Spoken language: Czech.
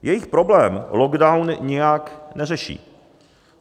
Jejich problém lockdown nijak neřeší.